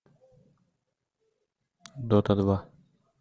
дота два